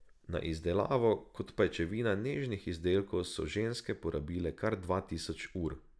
Za izdelavo kot pajčevina nežnih izdelkov so ženske porabile kar dva tisoč ur.